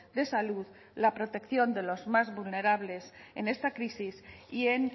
de salud la protección de los más vulnerables en esta crisis y en